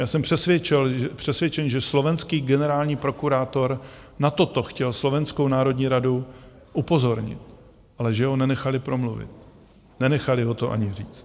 Já jsem přesvědčen, že slovenský generální prokurátor na toto chtěl Slovenskou národní radu upozornit, ale že ho nenechali promluvit, nenechali ho to ani říct.